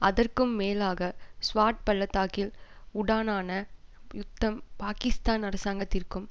அதற்கும் மேலாக ஸ்வாட் பள்ளத்தாக்கில் உடானான யுத்தம் பாகிஸ்தான் அரசாங்கத்திற்கும்